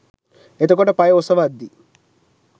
එතකොට පය ඔසවද්දි